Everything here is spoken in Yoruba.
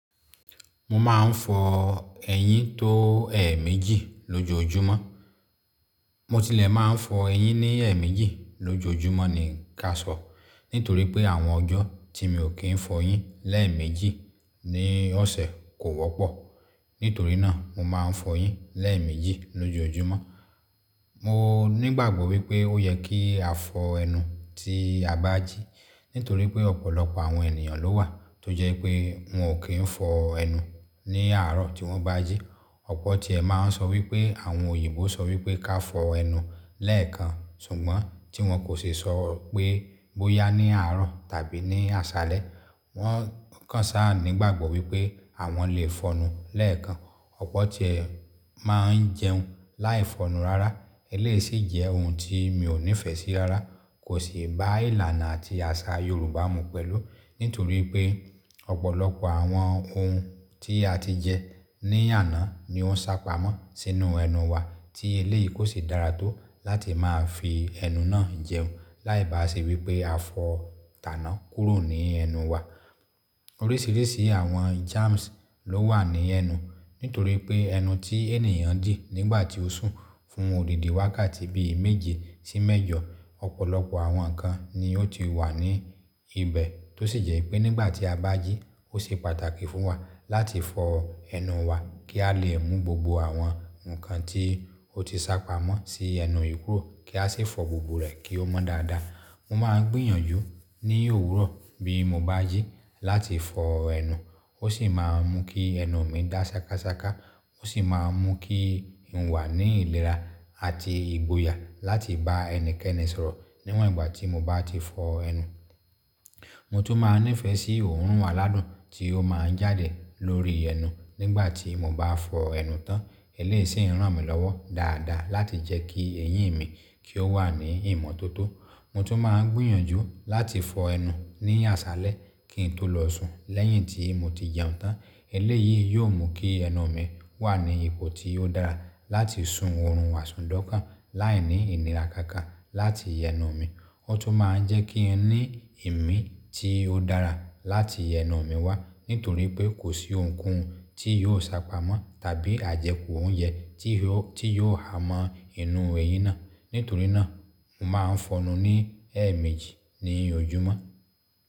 Mo máa ń fọ eyín tó ẹ̀ méjì lójoójúmọ́. Mo tilẹ̀ máa ń fọ eyín ní ẹ̀ méjì lójoójúmọ́ ni ká sọ̀. Nítorí pé àwọn ọjọ́ tí mi ò kí ń fọ eyín lẹ́ẹ̀ méjì ní ọ̀sẹ̀ kò wọ́pọ̀. Nítorí náà mo máa ń fọyín lẹ́ẹ̀ méjì lójoójúmọ́. Mo nígbàgbọ́ wípé ó yẹ kí a fọ ẹnu tí a bá jí. Nítorí pé ọ̀pọ̀lọpọ̀ àwọn ènìyàn ló wà tó jẹ́ pé wọn ò kí ń fọ ẹnu ní àárọ̀ tí wọ́n bá jí. Ọ̀pọ̀ ti ẹ máa ń sọ wípé àwọn òyìnbó sọ wípé ká fọ ẹnu lẹ́ẹ̀kan ṣùgbọ́n tí wọ́n kò ṣi sọ pé bóyá ní àárọ̀ tàbí ní àṣálẹ́. Wọ́n kàn sáà nígbàgbọ́ wípé àwọn lè fọnu lẹ́ẹ̀kan. Ọ̀pọ̀ ti ẹ máa ń jẹun láì fọnu rárá. Eléyìí sì jẹ́ ohun tí mi ò nífẹ̀ẹ́ sí rárá. Kò sì bá ìlànà àti àṣà Yorùbá mu pẹ̀lú. Nítorí pé ọ̀pọ̀lọpọ̀ àwọn ohun tí a ti jẹ ní àná ni ó ń sá pamọ́ sínú ẹnu wa tí eléyìí kò sì dára tó láti máa fi ẹnu náà jẹun. Láì bá se wípé a fọ̀ tàná kúrò ní ẹnu wa. Oríṣìíríṣìí àwọn germs ló wà ní ẹnu. Nítorí pé ẹnu tí ènìyàn dì nígbà tí ó sùn fún òdìdì wákàtí bí i méje sí mẹ́jọ. Ọ̀pọ̀lọpọ̀ àwọn nǹkan ni ó ti wà ní ibẹ̀ tó sì jẹ́ pé nígbà tí a bá jí ó ṣe pàtàkì fún wa láti fọ ẹnu wa kí a lè mú gbogbo àwọn nǹkan tí ó ti sá pamọ́ sí ẹnu yìí kúrò kí a sì fọ gbogbo rẹ̀ kí ó mọ́ dáadáa. Mo máa ń gbìyànjú ní òwúrọ̀ bí mo bá jí láti fọ ẹnu. Ó sì máa ń mú kí ẹnu mi dá ṣakásáká. Ó sì máa ń mú kí n wà ní ìlera àti ìgboyà láti bá ẹnikẹ́ni sọ̀rọ̀ níwọ̀n ìgbà tí mo bá ti fọ ẹnu. Mo tún máa ń nífẹ̀ẹ́ sí òórùn aládùn tí ó máa ń jáde lórí ẹnu nígbà tí mo bá fọ ẹnu tán. Eléyìí sì ń ràn mí lọ́wọ́ dáadáa láti jẹ́ kí eyín mi kí ó wà ní ìmọ́tótó. Mo tún máa ń gbìyànjú láti fọ ẹnu ní àṣálẹ́ kí n tó lọ sùn lẹ́yìn tí mo ti jẹun tán. Eléyìí yóò mú kí ẹnu mi wà ní ipò tí ó dára láti sun òórùn aṣùndọ́kàn láìní ìlera kankan láti ẹnu mi. Ó tún máa ń jẹ́ kí ẹni ìmí tí ó dára láti ẹnu mi wá. Nítorí pé kò sí ohunkóhun tí yóò sá pamọ́ tàbí àjẹkù oúnjẹ tí yóò, tí yóò ha mọ inú eyín náà. Nítorí náà mo máa ń fọnu ní ẹ̀ méjì ní ojúmọ́.